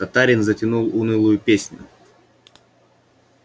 татарин затянул унылую песню